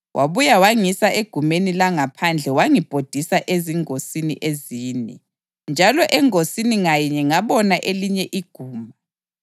Wabuya wangisa egumeni langaphandle wangibhodisa ezingosini ezine, njalo engosini ngayinye ngabona elinye iguma.